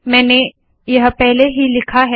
मैंने यह पहले ही लिखा है